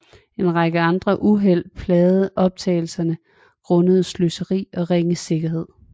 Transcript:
En række andre uheld plagede optagelserne grundet sløseri og ringe sikkerhed